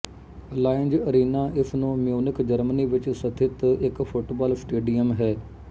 Allianz Arena ਇਸ ਨੂੰ Munich Germany ਵਿੱਚ ਸਥਿਤ ਇੱਕ ਫੁੱਟਬਾਲ ਸਟੇਡੀਅਮ ਹੈ